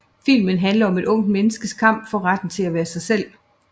Filmen handler om et ungt menneskes kamp for retten til at være sig selv